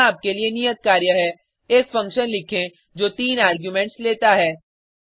यहाँ आपके लिए नियत कार्य है एक फंक्शन लिखें जो तीन आर्गुमेंट्स लेता है